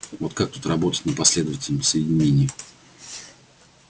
вот как тут работать на последовательном соединении